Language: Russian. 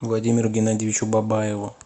владимиру геннадьевичу бабаеву